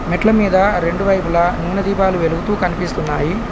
మెట్ల మీద రెండు వైపులా నూనె దీపాలు వెలుగుతూ కనిపిస్తున్నాయి.